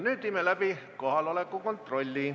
Viime läbi kohaloleku kontrolli.